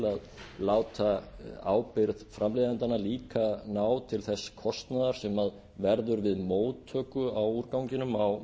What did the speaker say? að láta ábyrgð framleiðendanna líka ná til þess kostnaðar sem verður við móttöku á úrganginum á